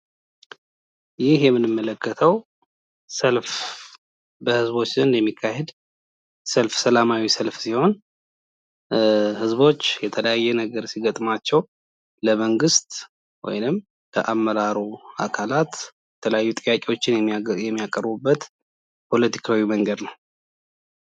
ይህ የምንመለከተው ሰልፍ በህዝቦች ዘንድ የሚካሄድ ሰልፍ ሰላማዊ ሰልፍ ሲሆን ህዝቦች የተለያየ ነገር ሲገጥማቸው ለመንግስት ወይም ለአመራሩ አካላት የተለያዩ ጥያቄዎችን የሚያቀርቡበት ፖለቲካዊ መንገድ ነው።